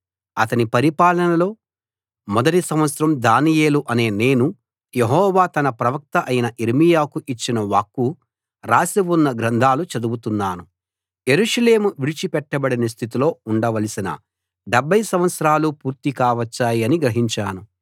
అతని పరిపాలనలో మొదటి సంవత్సరం దానియేలు అనే నేను యెహోవా తన ప్రవక్త అయిన యిర్మీయాకు ఇచ్చిన వాక్కు రాసి ఉన్న గ్రంథాలు చదువుతున్నాను యెరూషలేము విడిచిపెట్టబడిన స్థితిలో ఉండవలసిన 70 సంవత్సరాలు పూర్తి కావచ్చాయని గ్రహించాను